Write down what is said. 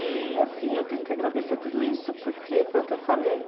E, assim, eu tenho que agradecer tudo isso, porque foi o que eu falei.